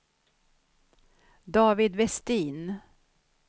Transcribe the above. David Westin